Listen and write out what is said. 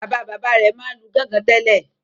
Bàbá-bàbá rẹ̀ máa ń lu gọ́ngọn tẹ́lẹ̀.